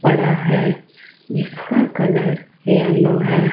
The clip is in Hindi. पड़ा है जिसका कलर येलो है।